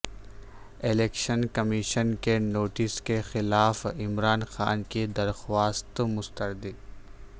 election commission کے notice کے خلاف عمران خان کی درخواست مسترد